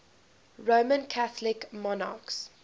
roman catholic monarchs